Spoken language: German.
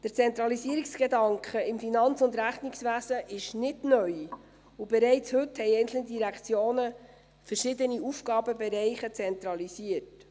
Der Zentralisierungsgedanke im Finanz- und Rechnungswesen ist nicht neu, und bereits heute haben einzelne Direktionen verschiedene Aufgabenbereiche zentralisiert.